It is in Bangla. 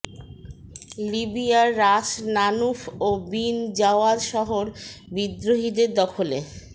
লিবিয়ার রাস লানুফ ও বিন জাওয়াদ শহর বিদ্রোহীদের দখলে